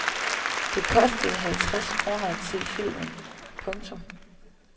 Det kostede halvtreds kroner at se filmen. punktum